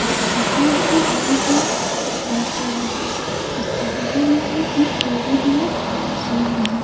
इस break dance में बहुत लोग बैठे हुए हैं उसके बगल में एक टैडी बियर स्विंग है।